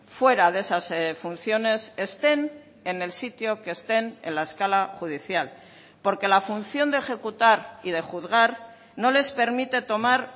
fuera de esas funciones estén en el sitio que estén en la escala judicial porque la función de ejecutar y de juzgar no les permite tomar